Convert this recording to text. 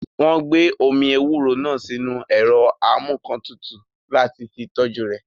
Wọ́n gbé omi ewúro náà sínu ẹ̀rọ amúǹkantutù láti fi tọ́jú rẹ̀